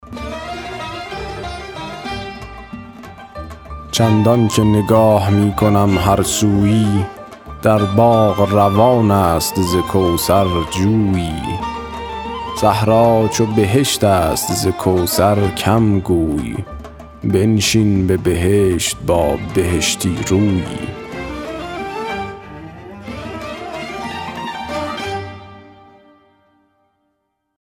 چندان که نگاه می کنم هر سویی در باغ روان است ز کوثر جویی صحرا چو بهشت است ز کوثر کم گوی بنشین به بهشت با بهشتی رویی